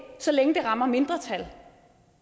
så længe det rammer mindretal